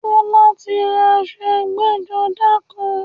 Tọ́lá ti ra aṣọ ẹgbẹ́-jọdá kan.